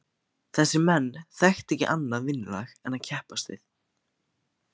Þessir menn þekktu ekki annað vinnulag en að keppast við.